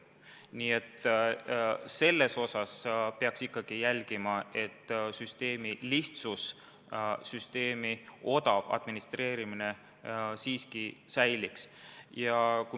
Nii et kindlasti peaks jälgima, et süsteemi lihtsus ja selle odav administreerimine siiski püsiks.